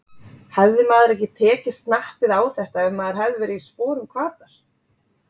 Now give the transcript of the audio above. Hefði maður ekki tekið snappið á þetta ef maður hefði verið í sporum Hvatar?